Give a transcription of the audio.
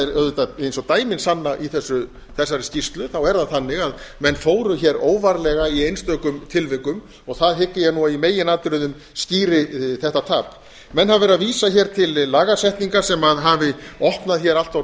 auðvitað eins og dæmin sanna í þessari skýrslu þá er það þannig að árin fóru hér óvarlega í einstökum tilvikum og það hygg ég að í meginatriðum skýri þetta tap menn hafa verið að vísa hér til lagasetninga sem hafi opnað hér allt of